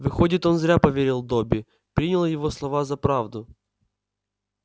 выходит он зря поверил добби принял его слова за правду